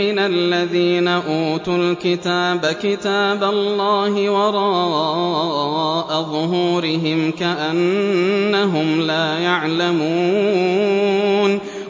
مِّنَ الَّذِينَ أُوتُوا الْكِتَابَ كِتَابَ اللَّهِ وَرَاءَ ظُهُورِهِمْ كَأَنَّهُمْ لَا يَعْلَمُونَ